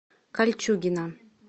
кольчугино